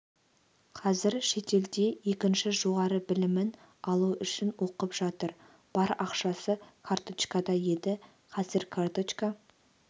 қазір шетелде екінші жоғары білімін алу үшін оқып жатыр бар ақшасы карточкада еді қазір карточка